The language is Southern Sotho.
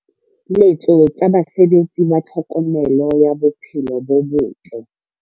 Letso tsa basebeletsi ba tlhokomelo ya tsa bophelo bo bottle.